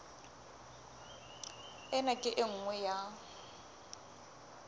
ena ke e nngwe ya